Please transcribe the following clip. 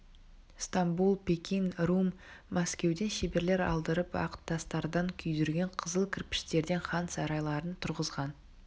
стамбул пекин рум мәскеуден шеберлер алдырып ақ тастардан күйдірген қызыл кірпіштерден хан сарайларын тұрғызған